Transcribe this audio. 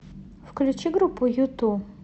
включи группу юту